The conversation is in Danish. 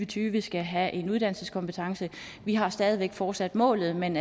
tyve skal have en uddannelseskompetence vi har stadig væk fortsat målet men